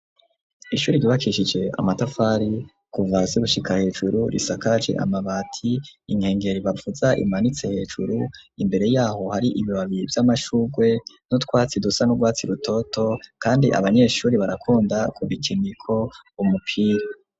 Ishuri ryibakishije amatafari kuvahasi gushika hejuru, risakaje amabati inkengero ibavuza imanitse hejuru imbere yaho hari ibibabiri vy'amashurwe n'utwatsi dusa n'urwatsi rutoto, kandi abanyeshuri barakunda ku bikeniko umupira.